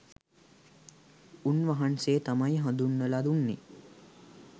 උන්වහන්සේ තමයි හඳුන්වල දුන්නෙ